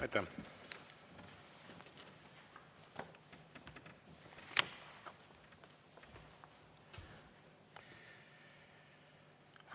Aitäh!